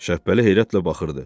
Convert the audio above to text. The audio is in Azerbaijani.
Şəbbəli heyrətlə baxırdı.